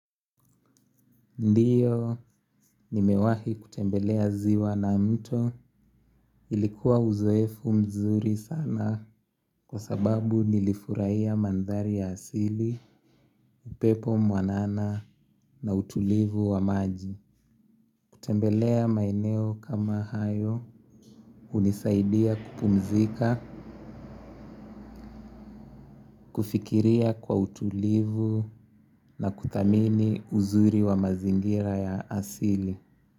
Ndiyo nimewahi kutembelea ziwa na mto ilikuwa uzoefu mzuri sana kwa sababu nilifurahia manthari ya asili, upepo mwanana na utulivu wa maji. Kutembelea maineo kama hayo hunisaidia kupumzika, kufikiria kwa utulivu na kutamini uzuri wa mazingira ya asili.